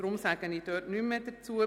Deshalb sage ich nichts mehr dazu.